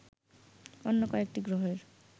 অন্য কয়েকটি গ্রহের